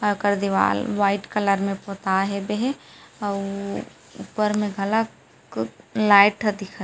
आकर दिवाल white colour में पोताये हेबे हे अउ ऊपर मे घलक लाइट ह दिखत हे --